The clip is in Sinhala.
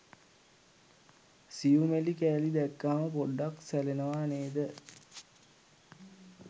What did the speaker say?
සියුමැලි කෑලි දැක්කහම පොඩ්ඩක් සැලෙනවා නේද?